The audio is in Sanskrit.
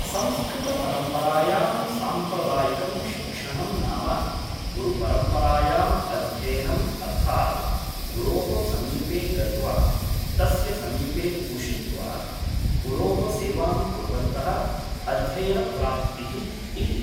संस्कृतपरम्परायां सांप्रदायिकं शिक्षणं नाम गुरुपरम्परायाम् अध्ययनम् अर्थात् गुरुोः समीपे गत्वा तस्य समीपे उषित्वा गुरुोः सेवां कुर्वन्तः अध्ययनप्राप्तिः इति